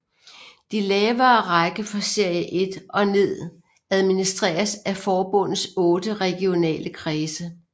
De lavere rækker fra Serie 1 og ned administreres af forbundets otte regionale kredse